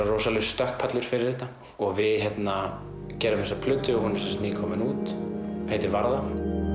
rosalegur stökkpallur fyrir þetta og við gerðum þessa plötu og hún er nýkomin út heitir varða